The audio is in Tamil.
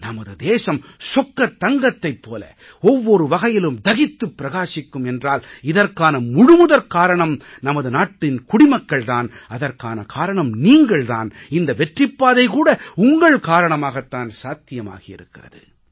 நமது தேசம் சொக்கத் தங்கத்தைப் போல ஒவ்வொரு வகையிலும் தகித்துப் பிரகாசிக்கும் என்றால் இதற்கான முழுமுதற் காரணம் நமது நாட்டின் குடிமக்கள் தான் அதற்கான காரணம் நீங்கள் தான் இந்த வெற்றிப் பாதை கூட உங்கள் காரணமாகத் தான் சாத்தியமாகியிருக்கிறது